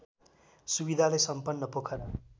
सुविधाले सम्पन्न पोखरा